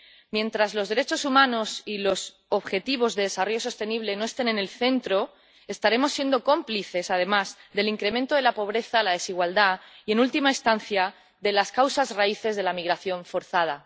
Mientras los derechos humanos y los objetivos de desarrollo sostenible no estén en el centro estaremos siendo cómplices, además, del incremento de la pobreza, la desigualdad y, en última instancia, de las causas raíces de la migración forzada.